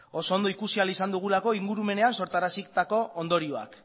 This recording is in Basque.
oso ondo ikusi ahal izan dugula ingurumenean sortarazitako ondorioak